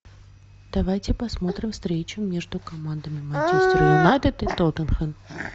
давайте посмотрим встречу между командами манчестер юнайтед и тоттенхэм